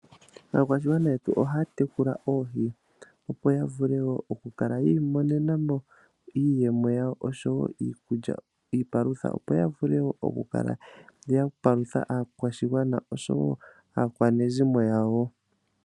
Aakwashigwana yetu ohaya tekula oohi opo ya vule okukala yiimonena mo iiyemo yawo, oshowo iipalutha, opo ya vule okukala ya palutha aakwashigwana oshowo aakwanezimo yawo.